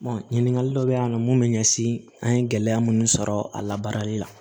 ɲininkali dɔ bɛ yen nɔ mun bɛ ɲɛsin an ye gɛlɛya minnu sɔrɔ a labaarali la